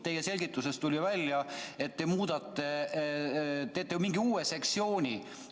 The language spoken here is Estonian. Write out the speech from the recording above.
Teie selgitusest tuli välja, et te muudate seda ja teete mingi uue sektsiooni.